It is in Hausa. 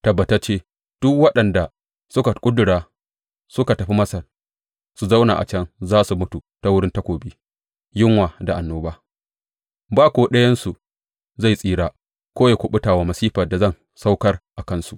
Tabbatacce, duk waɗanda suka ƙudura suka tafi Masar su zauna a can za su mutu ta wurin takobi, yunwa da annoba; ba ko ɗayansu zai tsira ko ya kuɓuta wa masifar da zan aukar a kansu.’